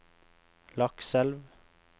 Lakselv